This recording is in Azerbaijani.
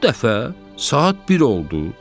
Bu dəfə saat 1 oldu.